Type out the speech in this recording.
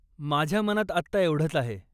माझ्या मनात आत्ता एवढंच आहे.